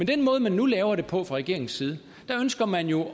den måde man nu laver det på fra regeringens side ønsker man jo